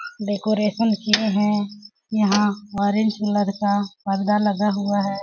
Decoration किए हैं यहाँ ऑरेंज कलर का पर्दा लगा हुआ है।